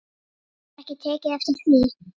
Hefurðu ekki tekið eftir því?